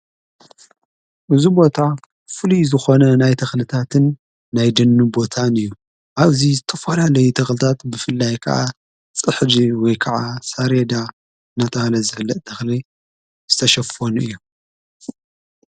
እዚ ቦታ ፍልይ ዝኾነ ናይ ተኽልታትን ናይ ደኒን ቦታን እዩ ኣብዙይ ዝተፈላለዩ ተኽልታት ብፍላይ ከዓ ጽሕዲ ወይ ከዓ ሳሬዳ ናተበሃለ ዝፍለጥ ተኽሊ ዝተሸፈኑ እዩ።